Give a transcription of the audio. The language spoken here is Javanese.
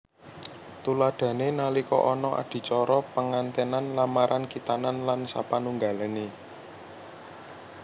Tuladhané nalika ana adicara pengantènan lamaran khitanan lan sapanunggalané